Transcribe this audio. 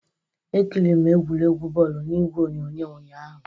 Ekịrịrị m egwuregwu bọọlụ n'igwe onyonyo ụnyahụ